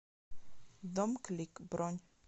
домклик бронь